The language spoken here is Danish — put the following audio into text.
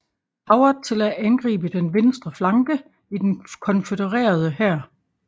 Howard til at angribe den venstre flanke i den konfødererede hær